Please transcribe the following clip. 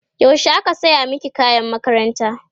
yaushe aka saya maki kayan makaranta?